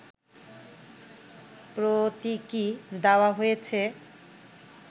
প্রতীকি দেওয়া হয়েছে